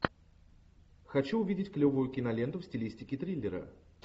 хочу увидеть клевую киноленту в стилистике триллера